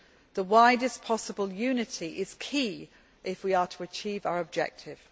The widest possible unity is key if we are to achieve our objective.